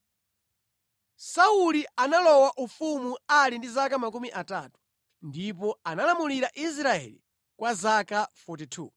Sauli analowa ufumu ali ndi zaka makumi atatu, ndipo analamulira Israeli kwa zaka 42.